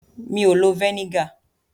Mi ò lo vẹ́nígà.